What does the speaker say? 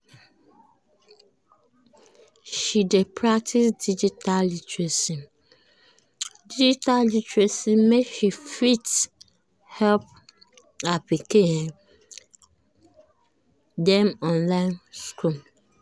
she dey practice digital literacy practice digital literacy make she fit help her um pikin dem online school.